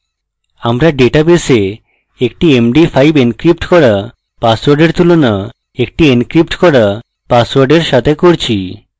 আমরা ডেটাবেসে একটি md5 encrypted করা পাসওয়ার্ডের তুলনা একটি encrypted করা পাসওয়ার্ডের সাথে করছি